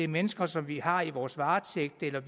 mennesker som vi har i vores varetægt eller